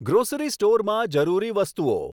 grocery સ્ટોરમાં જરૂરી વસ્તુઓ